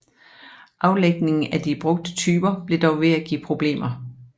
Aflægningen af de brugte typer blev dog ved at give problemer